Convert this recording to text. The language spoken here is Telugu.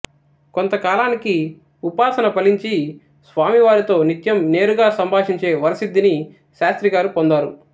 కొంతకాలానికి ఉపాసన ఫలించి స్వామివారితో నిత్యం నేరుగా సంభాషించే వరసిద్ధిని శాస్త్రిగారు పొందారు